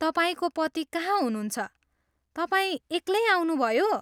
तपाईँको पति कहाँ हुनुहन्छ, तपाईँ एक्लै आउनुभयो?